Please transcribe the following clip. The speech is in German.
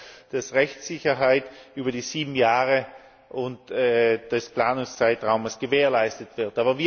Das heißt, dass Rechtssicherheit über die sieben Jahre des Planungszeitraums gewährleistet wird.